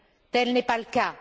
Tel n'est pas le cas.